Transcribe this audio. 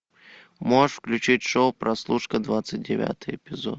можешь включить шоу прослушка двадцать девятый эпизод